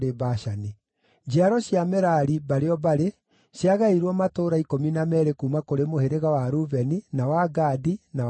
Njiaro cia Merari, mbarĩ o mbarĩ, ciagaĩirwo matũũra ikũmi na meerĩ kuuma kũrĩ mũhĩrĩga wa Rubeni, na wa Gadi, na wa Zebuluni.